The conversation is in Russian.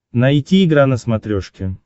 найти игра на смотрешке